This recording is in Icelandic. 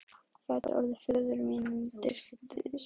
gæti orðið föður mínum dýrt spaug.